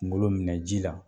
Kungomo minɛ ji la